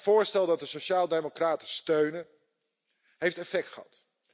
Het voorstel dat de sociaaldemocraten steunen, heeft effect gehad.